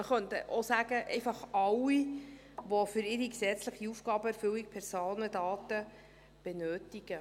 Man könnte auch einfach sagen: einfach alle, die für ihre gesetzliche Aufgabenerfüllung Personendaten benötigen.